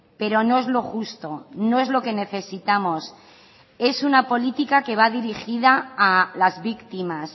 pero no es lo justo no es lo que necesitamos es una política que va dirigida a las víctimas